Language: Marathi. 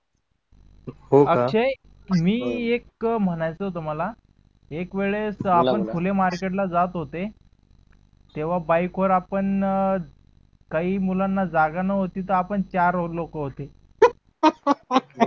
अक्षय जे मी एक म्हणायचं आहे तुम्हाला एक वेळेस आपण फुले market ला जात होते तेव्हा बाईक वर आपण काही मुलांना जागा नव्हती तर आपन चार लोक होते